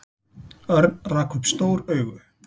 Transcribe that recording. Örn rak upp stór augu.